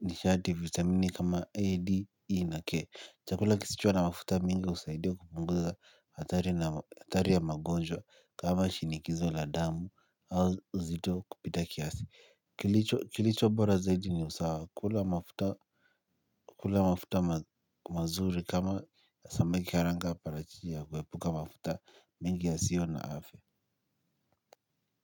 Nishati vitamini kama A, D, E na K. Chakula kisicho na mafuta mingi usaidia kupunguza hatari na hatari ya magonjwa kama shinikizo la damu au uzito kupita kiasi kilicho kilicho bora zaidi ni usawa kula mafuta kula mafuta mazuri kama ya samiki haranga paratiti ya kuepuka mafuta mingi yasio na afia.